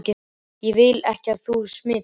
Ég vil ekki að þú smitist.